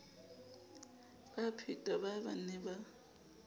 baphetwa baa ba ne ba